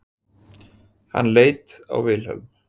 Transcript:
Hann leit á Vilhelm.